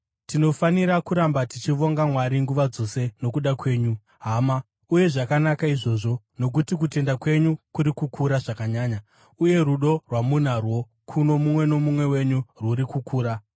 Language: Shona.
Tinofanira kuramba tichivonga Mwari nguva dzose nokuda kwenyu, hama, uye zvakanaka izvozvo, nokuti kutenda kwenyu kuri kukura zvakanyanya, uye rudo rwamunarwo kuno mumwe nomumwe wenyu rwuri kukura.